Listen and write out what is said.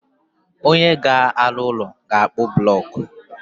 Onye ga alụ úlọ, ga-akpu bulocku